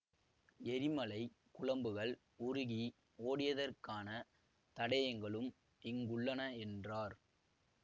எரிமலை குழம்புகள் உருகி ஓடியதற்கான தடயங்களும் இங்குள்ளன என்றார்